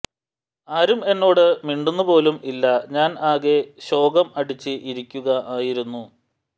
ആരും എന്നോട് മിണ്ടുന്നു പോലും ഇല്ല ഞാൻ ആകെ ശോകം അടിച്ചു ഇരിക്കുക ആയിരുന്നു